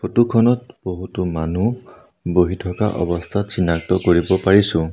Photo খনত বহুতো মানুহ বহি থকা অৱস্থাত চিনাক্ত কৰিব পাৰিছোঁ।